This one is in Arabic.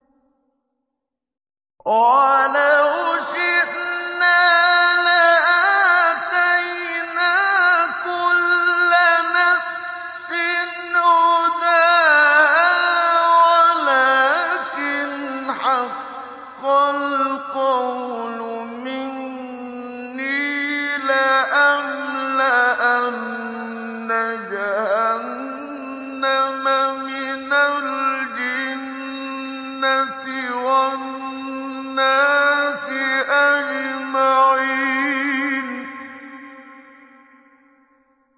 وَلَوْ شِئْنَا لَآتَيْنَا كُلَّ نَفْسٍ هُدَاهَا وَلَٰكِنْ حَقَّ الْقَوْلُ مِنِّي لَأَمْلَأَنَّ جَهَنَّمَ مِنَ الْجِنَّةِ وَالنَّاسِ أَجْمَعِينَ